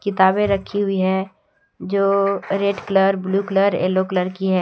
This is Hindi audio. किताबें रखी हुई है जो red colour blue colour yellow colour की है।